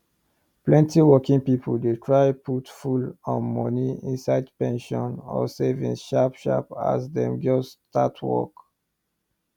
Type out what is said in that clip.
plenty working people dey try put full um money inside pension or savings sharp sharp as dem just start work